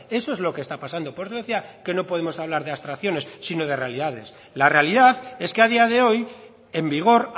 eso es lo que está pasando por eso decía que no podemos hablar de abstracciones sino de realidades la realidad es que a día de hoy en vigor